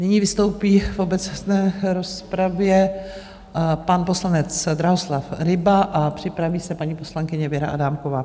Nyní vystoupí v obecné rozpravě pan poslanec Drahoslav Ryba a připraví se paní poslankyně Věra Adámková.